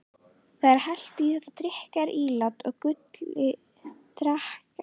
Þeir helltu í þetta drykkjarílát og Gulli drakk af því.